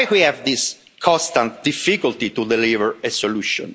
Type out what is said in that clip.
Why do we have this constant difficulty to deliver a solution?